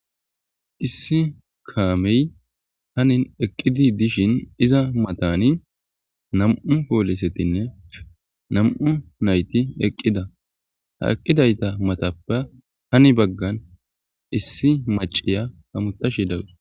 issi kaamey hanin eqqidi dishin iza matani nam7u poolisetinne nam7u nayti eqqida ha eqqidayta matapa hani baggan issi maciya ha mutashi dawus